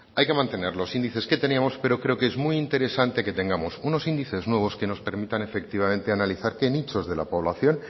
hay que mantener los índices que teníamos pero creo que es muy interesante que tengamos unos índices nuevos que nos permitan efectivamente analizar qué nichos de la población